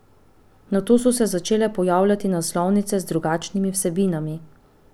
Nato so se začele pojavljati naslovnice z drugačnimi vsebinami.